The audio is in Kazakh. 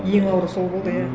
ең ауыры сол болды иә